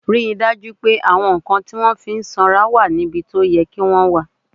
Rí i dájú pé àwọn nǹkan tí wọ́n fi ń sanra wà níbi tó yẹ kí wọ́n wà!